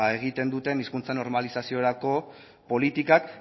beno egiten duten hizkuntza normalizaziorako politikak